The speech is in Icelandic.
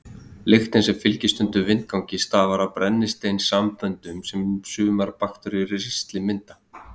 Lyktin sem fylgir stundum vindgangi stafar af brennisteinssamböndum sem sumar bakteríur í ristlinum mynda.